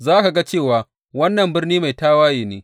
Za ka ga cewa wannan birni mai tawaye ne.